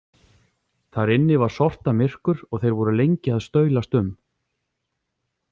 Þar inni var sortamyrkur og þeir voru lengi að staulast um.